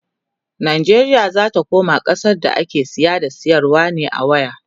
Najeriya zata koma ƙasa da ake saya da sayarwa ne a waya